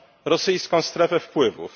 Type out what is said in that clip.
rosyjską strefę wpływów.